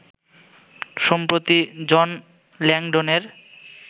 সম্প্রতি জন ল্যাংডনের